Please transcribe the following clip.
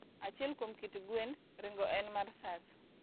Achiel kuom kit gwend ring'o en mar Sasso.